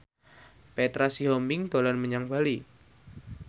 Petra Sihombing dolan menyang Bali